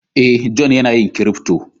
Eh, John yana yin " crypto".